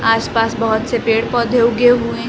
आस पास बहोत से पेड़ पौधे उगे हुए हैं।